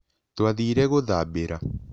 Twathire gũthambĩra.